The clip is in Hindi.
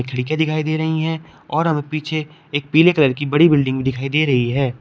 खिड़कियां दिखाई दे रही हैं और पीछे एक पीले कलर की बड़ी बिल्डिंग दिखाई दे रही है।